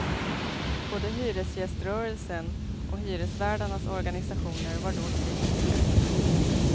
Både hyresgäströrelsen och hyresvärdarnas organisationer var då kritiska.